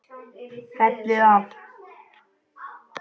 Fellið af.